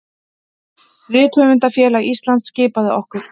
Rithöfundafélag Íslands skipaði okkur